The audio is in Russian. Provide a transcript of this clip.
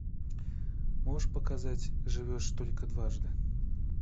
можешь показать живешь только дважды